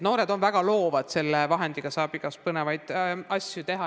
Noored on väga loovad, desovahendiga saab igasuguseid põnevaid asju teha.